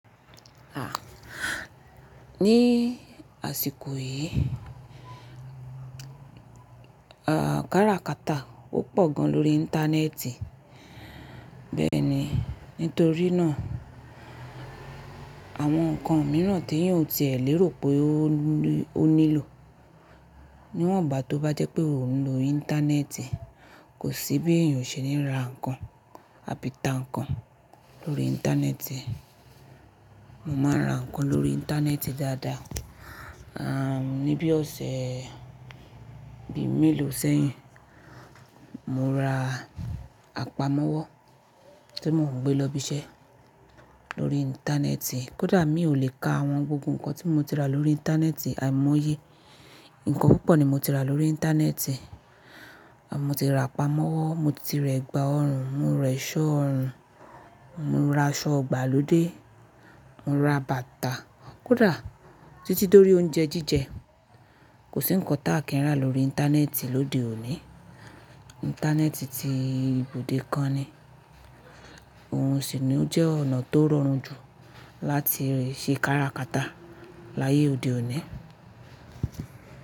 Ah! Ni àsìkò yìí, ah káràkátà ó pọ̀ gan lórí íńtánẹ́ẹ̀tì. Bẹ́ẹ̀ni, nítorínà àwọn nǹkan miran tí èyàn ò tilẹ̀ lérò pé ó nílò. Níwọ̀nba tó bá jẹ́ pé o ń lo íńtánẹ́ẹ̀tì, kò sí bí èyàn o se ní rà nǹkan àbí ta nǹkan lórí íńtánẹ́ẹ̀tì. Mo ma rà nǹkan lórí íńtánẹ́ẹ̀tì dáadáa. Ah ní bí ọ̀sẹ̀ bí méèló sẹ́yìn, mo ra àpamọ́wọ́ tí mo ń gbé lọ ibi iṣẹ́ lórí íńtánẹ́ẹ̀tì. Kódà mi ò lè ka àwọn gbogbo nǹkan tí mo ti rà lórí íńtánẹ́ẹ̀tì àìmọye. Ǹkan púpọ̀ ni mo ti rà lórí íńtánẹ́ẹ̀tì. Mo ti ra àpamọ́wọ́, mo ti rẹ́gba ọrùn, mo rẹ́ṣọ́ ọrùn, mo ra aṣọ igbà lóde, mo ra bàtà. Kódà títí dórí oúnjẹ jíjẹ kò sí nǹkan tá kí n rà lórí íńtánẹ́ẹ̀tì lóde òní. Íńtánẹ́ẹ̀tì ti ibùdó kan ni. Òun sì ni ó jẹ́ ọ̀nà tó rọrùn jù láti ṣe káràkátà láyé òde òní.